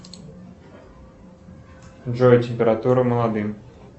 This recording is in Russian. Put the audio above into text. джой температура молодым